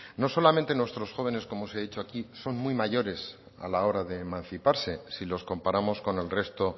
no solamente nuestros jóvenes como os he dicho aquí son muy mayores a la hora de emanciparse si los comparamos con el resto